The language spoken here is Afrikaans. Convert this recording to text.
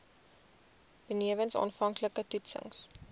benewens aanvanklike toetsings